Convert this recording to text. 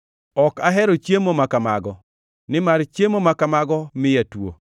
Ok ahero chiemo ma kamago; nimar chiemo ma kamago miya tuo.